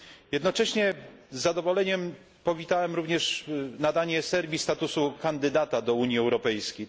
Jednocześnie z zadowoleniem powitałem również nadanie Serbii statusu kandydata do Unii Europejskiej.